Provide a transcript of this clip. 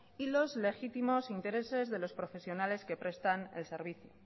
y los legítimos intereses de los profesionales que prestan el servicio